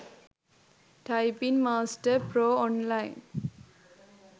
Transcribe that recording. typing master pro online